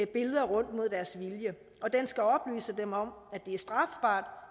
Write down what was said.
billeder rundt mod deres vilje og den skal oplyse dem om at det er strafbart